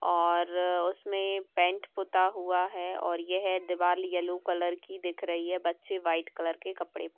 और उसमें पेंट पुता हुआ है और येह दीवाल येल्लो कलर की दिख रही है बच्चे व्हाइट कलर के कपड़े --